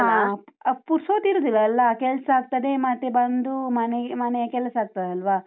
ಹ, ಪುರ್ಸೋತಿರುದಿಲ್ಲಲ್ಲ, ಕೆಲ್ಸ ಆಗ್ತದೆ ಮತ್ತೆ ಬಂದು ಮನೆಯ ಮನೆಯ ಕೆಲಸ ಆಗ್ತದಲ್ವಾ?